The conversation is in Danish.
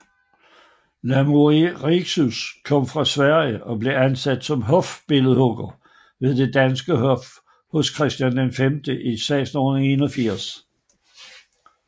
Lamoureux kom fra Sverige og blev ansat som hofbilledhugger ved det danske hof hos Christian V i 1681